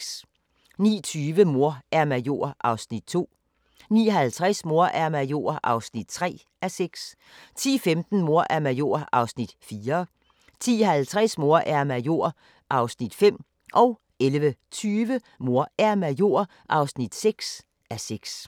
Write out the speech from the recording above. (1:6) 09:20: Mor er major (2:6) 09:50: Mor er major (3:6) 10:15: Mor er major (4:6) 10:50: Mor er major (5:6) 11:20: Mor er major (6:6)